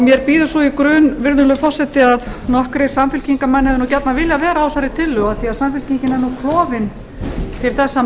mér býður svo í grun virðulegur forseti að nokkrir samfylkingarmenn hefðu nú gjarnan viljað vera á þessari tillögu af því samfylkingin er nú klofin til þessa